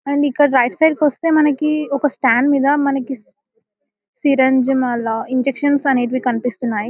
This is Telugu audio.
అండ్ ఇక్కడ రైట్ సైడ్ కి వస్తే మనకి ఒక స్టాండ్ మీద సి - సిరంజి మళ్ళా ఇంజెక్షన్స్ అనేటివి కన్పిస్తున్నాయి ..